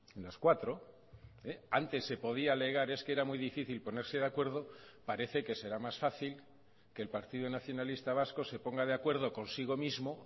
en las cuatro antes se podía alegar es que era muy difícil ponerse de acuerdo parece que será más fácil que el partido nacionalista vasco se ponga de acuerdo consigo mismo